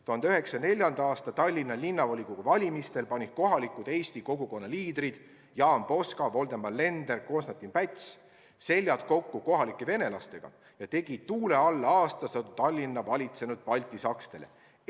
1904. aasta Tallinna Linnavolikogu valimistel panid kohalikud eestlaste kogukonna liidrid Jaan Poska, Voldemar Lender ja Konstantin Päts seljad kokku kohalike venelastega ja tegid tuule alla aastasadu Tallinna valitsenud baltisakslastele.